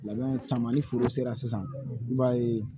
Labɛn caman ni foro sera sisan i b'a ye